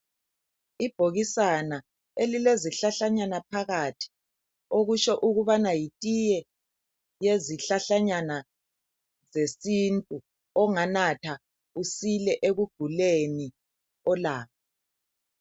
Ibhokisana elilezihlahlanyana phakathi okusho ukubana yitiye yezihlahlanyana zesintu, onganatha usile ekuguleni olakho.